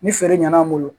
Ni feere ɲana an bolo